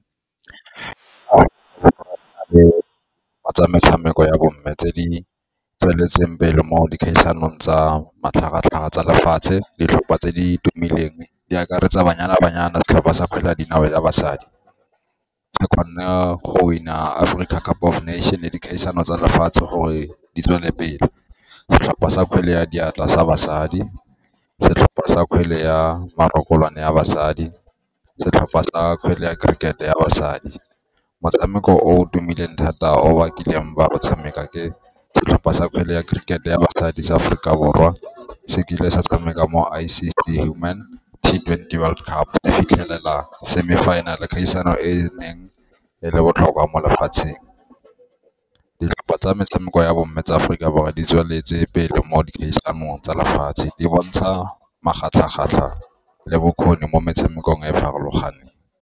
Metshameko ya bo mme tse di tsweletseng pele mo dikgaisanong tsa matlhagatlhaga tsa lefatshe ditlhopha tse di tumileng di akaretsa Banyana Banyana, setlhopha sa kgwele ya dinao ya basadi. Se kgonne go win-a Aforika Cup of Nation ya dikgaisano tsa lefatshe gore di tswele pele. Setlhopha sa kgwele ya diatla sa basadi, setlhopha sa kgwele ya ya basadi, setlhopha sa kgwele ya cricket-e ya basadi. Motshameko o o tumileng thata o ba kileng ba o tshameka ke setlhopha sa kgwele ya cricket-e ya basadi sa Aforika Borwa se kile sa tshameka mo twenty World Cup di fitlhelela semi-final-e, kgaisano e e neng e le botlhokwa mo lefatsheng. Ditlhopha tsa metshameko ya bomme tsa Aforika Borwa di tsweletse pele mo dikgaisanong tsa lefatshe di bontsha le bokgoni mo metshamekong e e farologaneng.